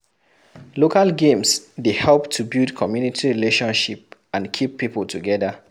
Local games dey help to build commumity relationship and keep pipo together